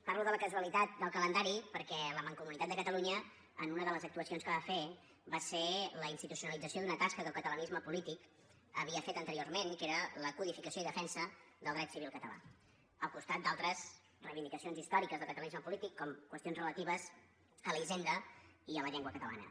parlo de la casualitat del calendari perquè la mancomunitat de catalunya una de les actuacions que va fer va ser la institucionalització d’una tasca que el catalanisme polític havia fet anteriorment i que era la codificació i defensa del dret civil català al costat d’altres reivindicacions històriques del catalanisme polític com qüestions relatives a la hisenda i a la llengua catalana